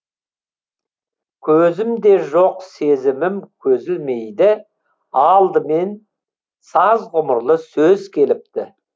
көзім де жоқ сезімім көзілмейді алдымен саз ғұмырлы сөз келіпті